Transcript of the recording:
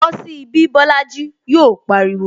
Bosi ibi Bolaji! Yọ pariwo